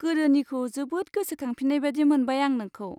गोदोनिखौ जोबोद गोसोखांफिन्नाय बादि मोनबाय आं नोंखौ।